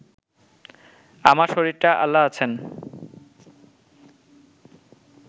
আমার শরীরটা আল্লাহ আছেন